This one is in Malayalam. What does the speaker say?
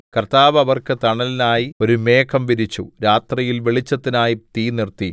കർത്താവ് അവർക്ക് തണലിനായി ഒരു മേഘം വിരിച്ചു രാത്രിയിൽ വെളിച്ചത്തിനായി തീ നിർത്തി